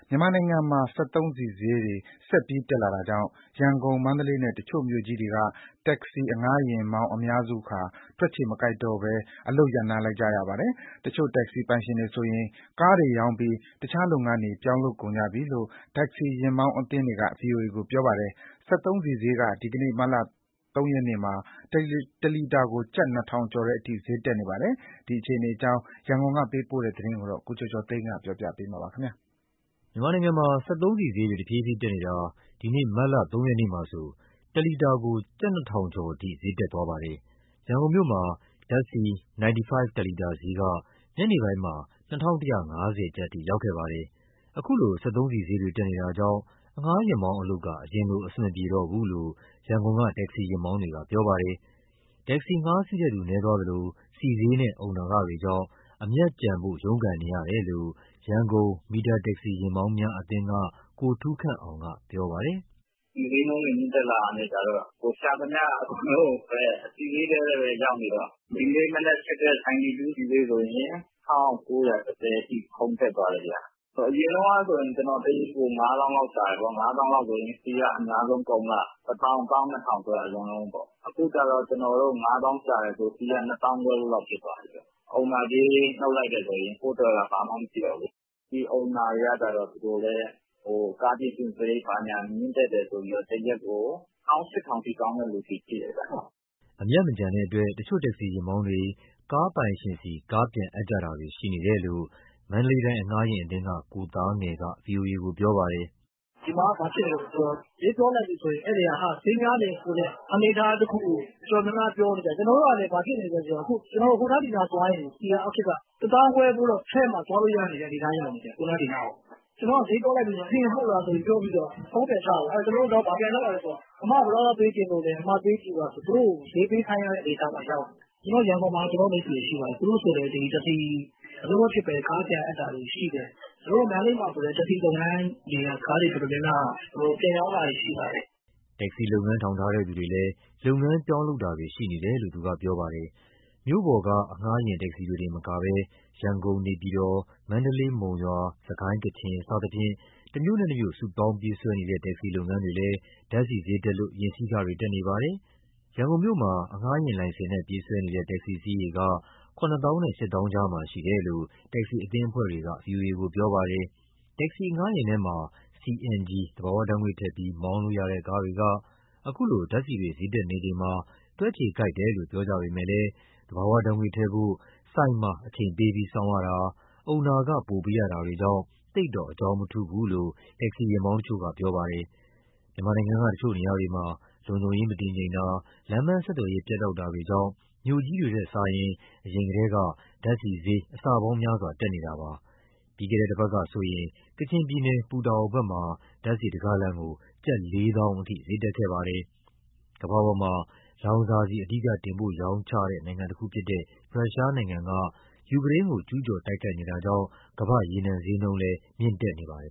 မြန်မာနိုင်ငံမှာ စက်သုံးဆီဈေးတွေ ဆက်ပြီးတက်လာတာကြောင့် ရန်ကုန်၊ မန္တလေးနဲ့ တချို့မြို့ကြီးတွေက တက္ကစီ အငှားယာဉ်မောင်းအများစုဟာ တွက်ခြေမကိုက်တော့ဘဲ အလုပ်ရပ်နားလိုက်ရပါတယ်။ တချို့တက္ကစီပိုင်ရှင်တွေဆိုရင် ကားတွေရောင်းပြီး တခြားလုပ်ငန်းတွေ ပြောင်းလုပ်ကုန်ပြီလို့ တက္ကစီယာဉ်မောင်းအသင်းတွေက ဗွီအိုအေကိုပြောပါတယ်။ စက်သုံးဆီဈေးက ဒီနေ့ မတ်လ ၃ ရက်မှာ ၁ လီတာကို ကျပ် ၂ ထောင်ကျော် တဲ့အထိ ဈေးတက်နေပါတယ်။ ဒီအခြေအနေအကြောင်း ရန်ကုန်ကပေးပို့တဲ့သတင်းကို ကိုကျော်ကျော်သိန်းက တင်ပြပေးထားပါတယ်။ မြန်မာနိုင်ငံမှာ စက်သုံးဆီဈေးတွေ တဖြည်းဖြည်းတက်နေတာ ဒီနေ့ မတ်လ ၃ ရက်နေ့မှာ ၁ လီတာကို ကျပ် ၂ ထောင်ကျော် အထိ ဈေးတက်သွားပါတယ်။ ရန်ကုန်မြို့မှာ ဓါတ်ဆီ 95 ၁ လီတာဈေးက ညနေပိုင်းမှာ ၂,၁၅၀ ကျပ်အထိ ရောက်ခဲ့ပါတယ်။ ခုလို စက်သုံးဆီဈေးတွေ တက်နေတာကြောင့် အငှားယာဉ်မောင်းအလုပ်က အရင်လို အဆင်မပြေတော့ဘူးလို့ ရန်ကုန်က တက္ကစီယာဉ်မောင်းတွေက ပြောပါတယ်။ တက္ကစီငှားစီးတဲ့သူ နည်းသွားသလို ဆီးဈေးနဲ့ အုံနာခတွေကြောင့် အမြတ်ကျန်ဖို့ ရုန်းကန်နေရကြောင်း ရန်ကုန် မီတာတက္ကစီ ယာဉ်မောင်းများအသင်းက ကိုထူးခန့်အောင်က ပြောပါတယ်။ “ဆီဈေးနှုန်းတွေ မြင့်တက်လာတော့ ရှာသမျှအကုန်လုံးကိုပဲ ဆီဈေးထဲပဲရောက်နေတော့၊ ဒီနေ့မနက်ဖြစ်တဲ့ 92 ဆီဈေးဆိုရင် ၁,၉၁၀ အထိ ခုန်တက်သွားတယ်ဗျ။ အရင်တုန်းကဆိုရင် ကျနော်တရက်ကို ၅၀,၀၀၀ လောက်ရှာတယ်ပေါ့။ ဆီကအများဆုံးကုန်မှ ၁၀,၀၀၀- ၁၂,၀၀၀ အလွန်ဆုံးပေါ့။ အခုကျ ကျနော်တို့ ၅၀,၀၀၀ ရှာတယ်ဆိုရင် ဆီက ၂၅,၀၀၀ ဖိုးလောက်ဖြစ်သွားပြီ။ အုံနာကြေး နုတ်လိုက်တယ်ဆိုရင် ကိုယ့်အတွက်က ဘာမှမရှိတော့ဘူးလေ။ အုံနာတွေကလည်း ကားပြင်ဆင်စရိတ် မြင့်တက်တယ်ဆိုပြီး တရက်ကို ၁၈,၀၀၀ အထိ တောင်းတဲ့သူတွေရှိတယ်ဗျ။” အမြတ်မကျန်တဲ့အတွက် တချို့တက္ကစီ ယာဉ်မောင်းတွေက ကားပိုင်ရှင်ဆီ ကားပြန်အပ်ကြတာတွေ ရှိနေတယ်လို့ မန္တလေးတိုင်း အငှားယာဉ်အသင်းက ကိုသားငယ်က ဗွီအိုအေကို ပြောပါတယ်။ “ဒီမှာက ဘာဖြစ်နေလဲဆိုတော့ ဈေးပြောလိုက်ရင် ဧည့်သည်က ဈေးများတယ်ဆိုတဲ့ အနေအထားတခုကို တော်တော်များများ ပြောနေကြတယ်။ ကျနော်တို့ကလည်း ဟိုနားဒီနားသွားရင် ဆီကအောက်ထစ်က ၁၅,၀၀၀ ဖိုးလောက်ထည့်မှ သွားလို့ရတဲ့ အနေအထား ဖြစ်နေတယ်။ ဈေးပြောလိုက်ရင် ဟင်..ဟုတ်လားဆိုပြီး ဖုန်းပြန်ချ… အဲဒီတော့ ကျနော်တို့ ဘာပြန်လုပ်ရလဲဆိုတော့ အမကဘယ်လောက် ပေးချင်လို့လဲဆိုပြီး သူတို့ကို ဈေးပေးခိုင်းရတဲ့ အနေအထားမှာ ရောက်နေတယ်။ ရန်ကုန်မှာလည်း ကျနော်တို့ မိတ်ဆွေတွေရှိပါတယ်။ သူတို့ဆိုလည်း ဒီတက္ကစီအလုပ်မဖြစ်ဘဲ ကားပြန်အပ်တာတွေရှိတယ်။ မန္တလေးမှာဆိုလည်း တက္ကစီ လုပ်ငန်းက ကားတွေတော်တော်များများ ပြန်ရောင်းတာတွေရှိလာတယ်။” တက္ကစီလုပ်ငန်း ထောင်ထားတဲ့သူတွေလည်း လုပ်ငန်းပြောင်းလုပ်တာတွေ ရှိနေတယ်လို့ သူကပြောပါတယ်။ မြို့ပေါ်က အငှားယာဉ် တက္ကစီတွေတင်မဟုတ်ဘဲ ရန်ကုန်-နေပြည်တော်၊ မန္တလေး-မုံရွာ၊ စစ်ကိုင်း-ကချင် စသဖြင့် တမြို့နဲ့တမြို့ စုပေါင်းပြေးဆွဲနေတဲ့ တက္ကစီလုပ်ငန်းတွေလည်း ဓါတ်ဆီဈေးတက်လို့ ယာဉ်စီးခတွေ တက်နေပါတယ်။ ရန်ကုန်မြို့မှာ အငှားယာဉ်လိုင်စင်နဲ့ ပြေးဆွဲနေတဲ့ တက္ကစီအစီးရေက ၇၀,၀၀၀ နဲ့ ၈၀,၀၀၀ ကြားမှာရှိတယ်လို့ တက္ကစီ အသင်းအဖွဲ့တွေက ဗွီအိုအေကိုပြောပါတယ်။ တက္ကစီအငှားယာဉ်ထဲမှာ CNG သဘာဝဓာတ်ငွေ့ထည့်ပြီး မောင်းလို့ရတဲ့ကားတွေက အခုလိုဓာတ်ဆီတွေ ဈေးတက်နေချိန်မှာ တွက်ခြေကိုက်တယ်လို့ ပြောကြပေမဲ့လည်း သဘာဝဓာတ်ငွေ့ထည့်ဖို့ ဆီဆိုင်မှာ အချိန်ပေးပြီးစောင့်ရတာ၊ အုံနာခ ပိုပေးရတာ တွေကြောင့် သိပ်တော့ အကြောင်းမထူးဘူးလို့ တက္ကစီယာဉ်မောင်းတချို့က ပြောပါတယ်။ မြန်မာနိုင်ငံက တချို့နေရာတွေမှာ လုံခြုံရေးမတည်ငြိမ်တာ၊ လမ်းပန်းဆက်သွယ်ရေး ပြတ်တောက်တာတွေကြောင့် မြို့ကြီးတွေထက်စာရင် အရင်ကတည်းက ဓါတ်ဆီဈေး အဆပေါင်းများစွာ တက်နေတာပါ။ ပြီးခဲ့တဲ့တပတ်ကဆိုရင် ကချင်ပြည်နယ် ပူတာအိုမြို့ဘက်မှာ ဓာတ်ဆီတဂါလံကို ကျပ် ၄၀,၀၀၀ အထိ ဈေးတက်ခဲ့ပါတယ်။ ကမ္ဘာပေါ်မှာ လောင်စာဆီ အဓိကတင်ပို့ရောင်းချတဲ့ နိုင်ငံတခုဖြစ်တဲ့ ရုရှားနိုင်ငံက ယူကရိန်းကို ကျူးကျော် တိုက်ခိုက်နေတာကြောင့် ကမ္ဘာ့ရေနံဈေးနှုန်းလည်း မြင့်တက်နေပါတယ်